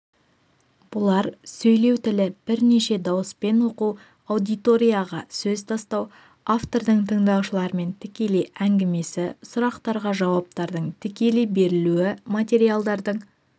бұлар сөйлеу тілі бірнеше дауыспен оқу аудиторияға сөз тастау автордың тыңдаушылармен тікелей әңгімесі сұрақтарға жауаптардың тікелей берілуі материалдардың